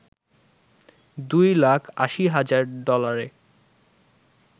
দুই লাখ ৮০ হাজার ডলারে